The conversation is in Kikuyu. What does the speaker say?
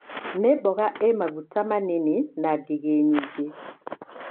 Nĩmboga ĩ maguta manini na ngigi nyingĩ.